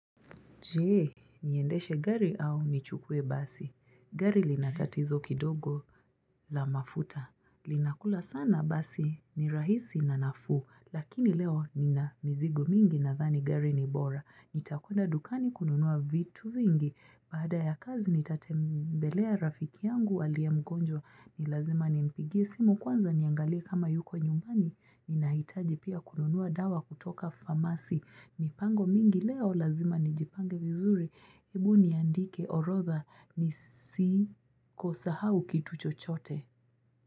Je, niendeshe gari au nichukue basi. Gari lina tatizo kidogo la mafuta. Linakula sana basi ni rahisi na nafuu. Lakini leo nina mizigo mingi nadhani gari ni bora. Nitakwenda dukani kununua vitu vingi, baada ya kazi nitatembelea rafiki yangu aliye mgonjwa ni lazima nimpigie simu kwanza niangalie kama yuko nyumbani ninahitaji pia kununua dawa kutoka famasi. Mipango mingi leo lazima nijipange vizuri, hebu niandike orodha nisi kusahau kitu chochote.